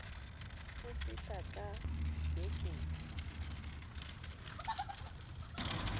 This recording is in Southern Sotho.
o fihla ka be ke